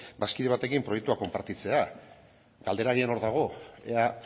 bazkide batekin proiektua konpartitzea galdera agian hor dago ea